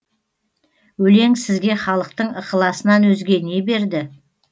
өлең сізге халықтың ықыласынан өзге не берді